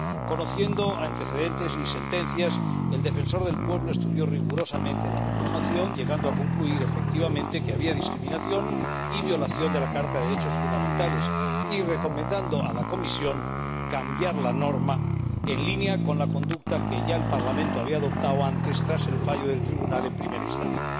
Conociendo antecedentes y sentencias, el Defensor del Pueblo estudió rigurosamente la reclamación y concluyó que, efectivamente, había discriminación y violación de la Carta de los Derechos Fundamentales, por lo que recomendó a la Comisión que cambiara la norma, en línea con la conducta que ya el Parlamento había adoptado antes, tras el fallo del Tribunal en primera instancia.